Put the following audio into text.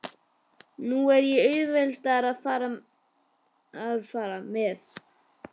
Nú á ég auðveldara með að fara.